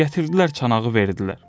Gətirdilər çanağı verdilər.